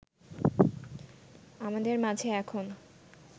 আমাদের মাঝে এখন